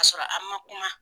Ka sɔrɔ a ma kuma.